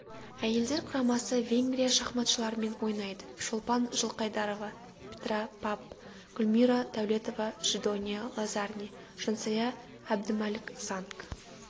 әйелдер құрамасы венгрия шахматшыларымен ойнайды шолпан жылқайдарова петра папп гүлмира дәулетова жидония лазарне жансая әбдімәлік занг